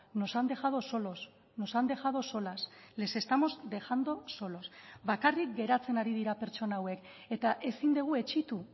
nos han dejado solos nos han dejado solas les estamos dejando solos bakarrik geratzen ari dira pertsona hauek eta ezin dugu etsitu